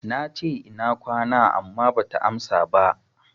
Nace, Ina kwana, amma bata amsa ba.